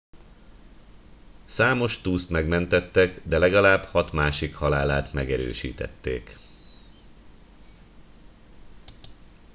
számos túszt megmentettek de legalább hat másik halálát megerősítették